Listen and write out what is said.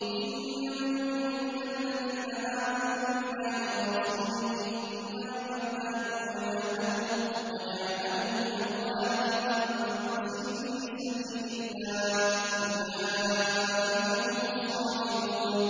إِنَّمَا الْمُؤْمِنُونَ الَّذِينَ آمَنُوا بِاللَّهِ وَرَسُولِهِ ثُمَّ لَمْ يَرْتَابُوا وَجَاهَدُوا بِأَمْوَالِهِمْ وَأَنفُسِهِمْ فِي سَبِيلِ اللَّهِ ۚ أُولَٰئِكَ هُمُ الصَّادِقُونَ